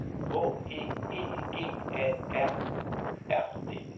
H E E G A A R D